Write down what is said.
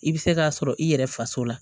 I bɛ se k'a sɔrɔ i yɛrɛ faso la